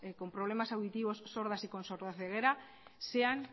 con problemas auditivos sordas y con sordaceguera sean